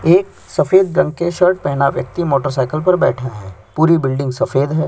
एक सफेद रंग के शर्ट पहना व्यक्ति मोटरसाइकिल पर बैठा है पूरी बिल्डिंग सफेद है।